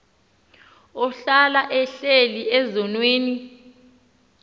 ohlala ehleli ezonweni